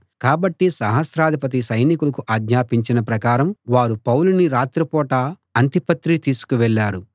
కాబట్టి సహస్రాధిపతి సైనికులకు ఆజ్ఞాపించిన ప్రకారం వారు పౌలుని రాత్రి పూట అంతిపత్రి తీసుకువెళ్ళారు